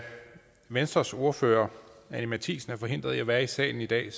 venstres ordfører anni matthiesen er forhindret i at være i salen i dag